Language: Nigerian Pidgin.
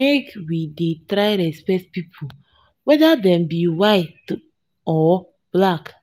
make we try dey respect pipu whether dem be white or black.